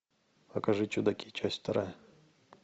покажи чудаки часть вторая